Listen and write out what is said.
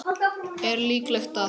Er líklegt að